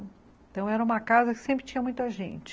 Então, era uma casa que sempre tinha muita gente.